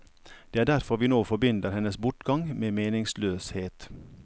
Det er derfor vi nå forbinder hennes bortgang med meningsløshet.